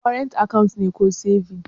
Kwarant akawu ne dake ko sebins?